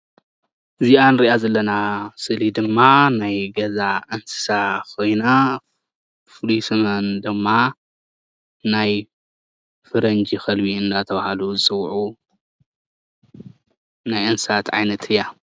እዚኣ እንሪኣ ዘለና ስእሊ ድማ ናይ ገዛ እንስሳ ኮይና ፍሉይ ስመን ድማ ናይ ፈረንጂ ከልቢ እንዳተባሃሉ ዝፅውዑ ናይ እንስሳት ዓይነት እያ፡፡